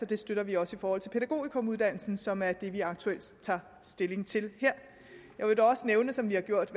det støtter vi også i forhold til pædagogikumuddannelsen som er det vi aktuelt tager stilling til her jeg vil dog også nævne som vi har gjort